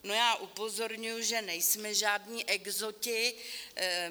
Já upozorňuji, že nejsme žádní exoti.